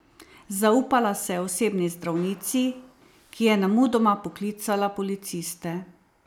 Zaupala se je osebni zdravnici, ki je nemudoma poklicala policiste.